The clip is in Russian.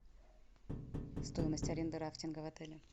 стоимость аренды рафтинга в отеле